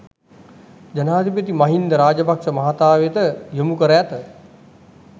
ජනාධිපති මහින්ද රාජපක්‍ෂ මහතා වෙත යොමු කර ඇත